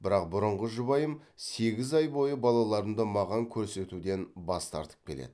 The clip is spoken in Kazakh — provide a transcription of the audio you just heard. бірақ бұрынғы жұбайым сегіз ай бойы балаларымды маған көрсетуден бас тартып келеді